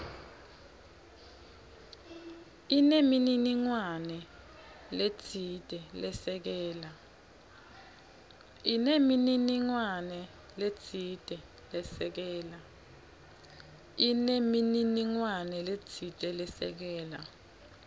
inemininingwane letsite lesekela